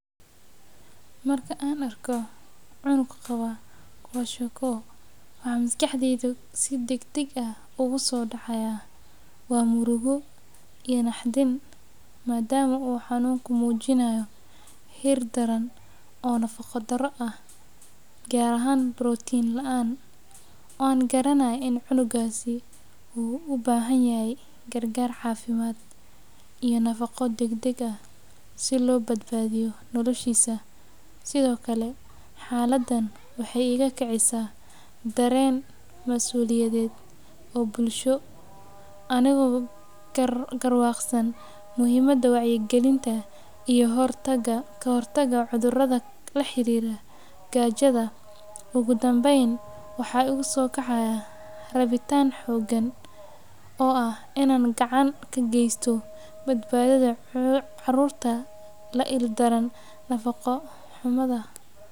Marka aan arko cunug qabo kwashiorkor waxaa maskaxdeyda kusoo dacaaya murugo iyo naxdin madama uu xanunka mujinaaya heer daran oo nafaqo daro gaar ahaan protein laan, gaar ahaan inuu cunugas ubahan yahay cafimaad dagdag ah, xaladan waxeey iga bixisa dareen masuliyada nimo, ogu danbeyn waxaa igu soo kacaaya rabitaan inaan gacan kageesto badbaadada caruurta la il daran nafaqa xumida.